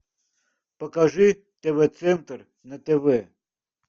покажи тв центр на тв